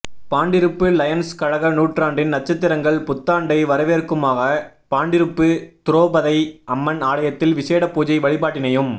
Pandiruppu Lions கழக நூற்றாண்டின் நட்சத்திரங்கள் புத்தாண்டை வரவேற்குமுகமாக பாண்டிருப்பு துரோபதை அம்மன் ஆலயத்தில் விஷேட பூஜை வழிபாட்டினையும்